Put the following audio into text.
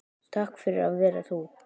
Takk fyrir að vera þú.